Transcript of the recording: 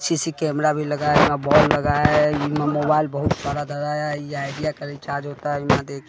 C C camera भी लगाया है बल्ब लगाया है मोबाइल बहुत सारा लगाया है यह आइडिया का रिचार्ज होता है बिना दे--